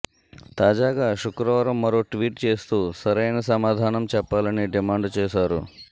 తాజాగా శుక్రవారం మరో ట్వీట్ చేస్తూ సరైన సమాధానం చెప్పాలని డిమాండు చేశారు